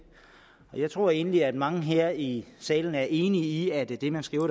jeg tror egentlig at mange her i salen er enige i at det man skriver